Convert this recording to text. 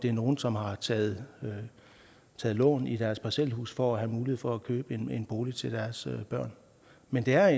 er nogle som har taget taget lån i deres parcelhus for at have mulighed for at købe en bolig til deres børn men det er